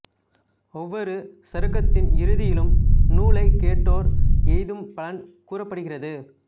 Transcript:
ஒவ்வொரு சருக்கத்தின் இறுதியிலும் நூலைக் கேட்டோர் எய்தும் பலன் கூறப்படுகிறது